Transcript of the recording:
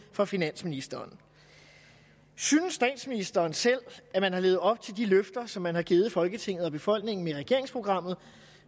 for finansministeren synes statsministeren selv at man har levet op til de løfter som man har givet folketinget og befolkningen med regeringsprogrammet